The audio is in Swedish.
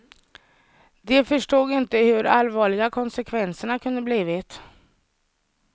De förstod inte hur allvarliga konsekvenserna kunde blivit.